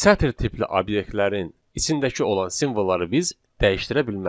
sətr tipli obyektlərin içindəki olan simvolları biz dəyişdirə bilmərik.